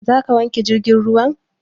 Za ka wanke jirgin ruwan?